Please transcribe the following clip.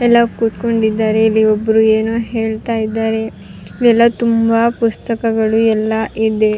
ಎಲ್ಲ ಕೂತ್ಕೊಂಡಿದಾರೆ ಇಲ್ಲಿ ಒಬ್ರು ಏನೋ ಹೇಳ್ತಾ ಇದ್ದಾರೆ ಎಲ್ಲ ತುಂಬಾ ಪುಸ್ತಕಗಳು ಎಲ್ಲ ಇದೆ.